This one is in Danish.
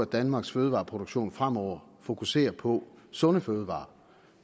at danmarks fødevareproduktion fremover fokuserer på sunde fødevarer